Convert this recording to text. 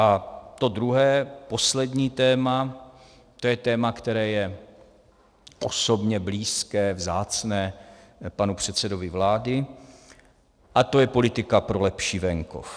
A to druhé, poslední téma, to je téma, které je osobně blízké, vzácné panu předsedovi vlády, a to je politika pro lepší venkov.